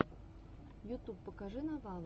ютуб покажи новала